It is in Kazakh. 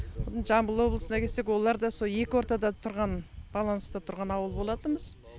жамбыл облысына келсек олар да сол екі ортада тұрған баланста тұрған ауыл болатынбыз